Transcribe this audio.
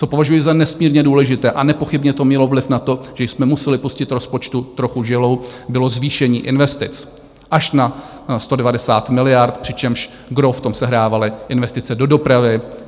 Co považuji za nesmírně důležité a nepochybně to mělo vliv na to, že jsme museli pustit rozpočtu trochu žilou, bylo zvýšení investic až na 190 miliard, přičemž gros v tom sehrávaly investice do dopravy.